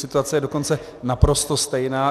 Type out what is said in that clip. Situace je dokonce naprosto stejná.